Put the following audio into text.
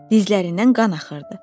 Dizlərindən qan axırdı.